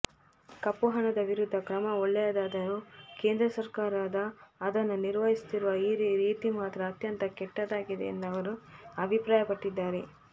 ಕಪ್ಪುಹಣದ ವಿರುದ್ಧ ಕ್ರಮ ಒಳ್ಳೆಯದಾರರೂ ಕೇಂದ್ರ ಸರ್ಕಾರದ ಅದನ್ನು ನಿರ್ವಹಿಸುತ್ತಿರುವ ರೀತಿ ಮಾತ್ರ ಅತ್ಯಂತ ಕೆಟ್ಟದಾಗಿದೆ ಎಂದು ಅವರು ಅಭಿಪ್ರಾಯಪಟ್ಟಿದ್ದಾರೆ